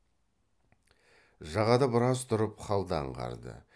жағада біраз тұрып халды аңғарды